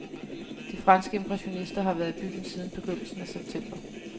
De franske impressionister har været i byen siden begyndelsen af september.